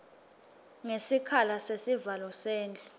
ngesikhala sesivalo sendlu